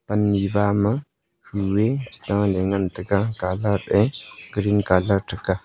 panni bama kuu eh chitaley ngan tega colour eh green ṭhaka.